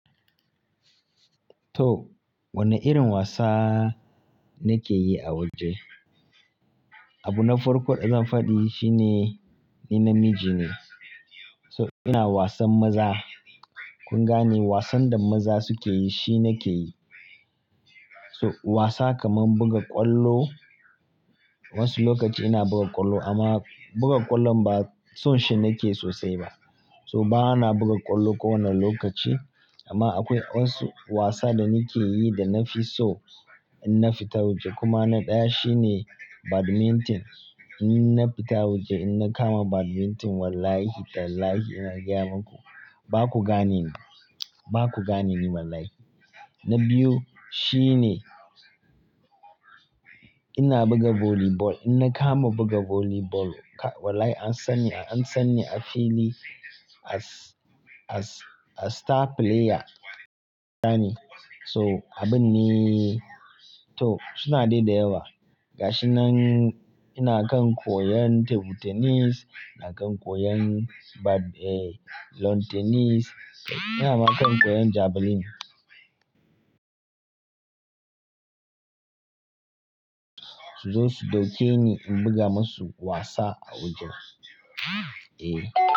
To, wanne irin wasa nake yi a waje? Abu na farko da zan faɗi shine ni namiji ne. So ina wasan maza. Kun gane wasan da maza suke yi shi nake yi. So wasa kaman buga ƙwallo. Wasu lokaci ina buga ƙwallo amma buga ƙwallon ba son shi nake sosai ba. So ba na buga ƙwallo kowane lokaci amma akwai wasu wasa da nake yi da na fi so in na fita waje. Kuma na ɗaya shine badminton. In na fita waje in na kama badminton wallahi tallahi ina gaya maku, baku gane ni, baku gane ni wallahi. Na biyu shine ina buga volleyball. In na kama buga volleyball wallahi an san ni, an san ni a fili as, as, as star player. Gane. So, abun ne. To, suna dai da yawa. Ga shi nan ina kan koyan table tennis, ina kan koyan bad-- eh, lawn tennis, ina ma kan koyan javelin. Su dai su dauke ni in buga masu wasa a waje.